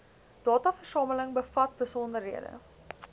dataversameling bevat besonderhede